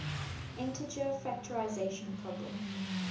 integer factorization problem